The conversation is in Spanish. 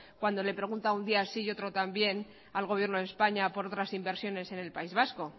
cuando le pregunta un día sí y otro también al gobierno de españa por otras inversiones en el país vasco